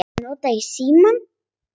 Svo nota ég símann.